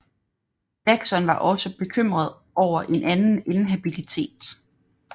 Jackson var også bekymret over en anden inhabilitet